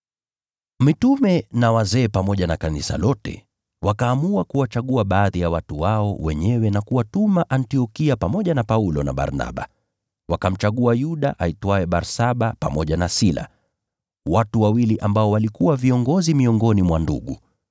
Mitume na wazee pamoja na kanisa lote, wakaamua kuwachagua baadhi ya watu wao na kuwatuma Antiokia pamoja na Paulo na Barnaba. Wakamchagua Yuda aitwaye Barsaba pamoja na Sila, watu wawili waliokuwa viongozi miongoni mwa ndugu.